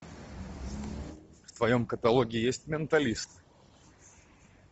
в твоем каталоге есть менталист